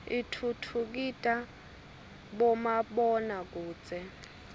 itfutfukida bomabona kudze